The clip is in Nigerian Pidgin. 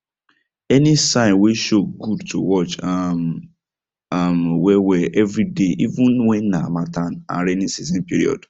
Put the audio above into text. any sign way show good to watch um am well well every day even when na harmattan and raining season period